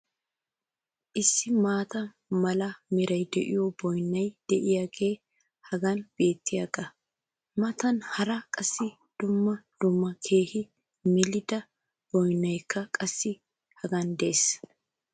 issi maata mala meray de'iyo boynnay diyaagee hagan beetiyaagaa matan hara qassi dumma dumma keehi melida boynnaykka qassi hegan des.